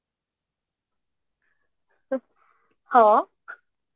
ହଁ